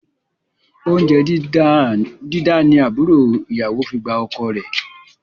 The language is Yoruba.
Oúnjẹ dídá ni àbúrò ìyàwó fi gba ọkọ rẹ